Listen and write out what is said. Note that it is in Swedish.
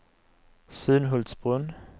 Sunhultsbrunn